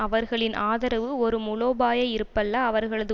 அவர்களின் ஆதரவு ஒரு முலோபாய இருப்பல்ல அவர்களது